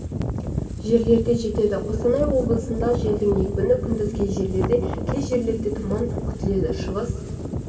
жерлерде жетеді қостанай облысында желдің екпіні күндіз кей жерлерде кей жерлерде тұман күтіледі шығыс